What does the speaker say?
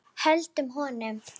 Höldum honum!